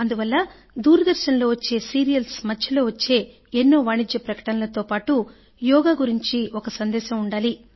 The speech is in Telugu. అందువల్ల దూరదర్శన్ లో వచ్చే సీరియల్స్ మధ్యలో వచ్చే వాణిజ్య ప్రకటనలతో పాటు యోగా గురించి ఒక సందేశం కూడా ఉండాలి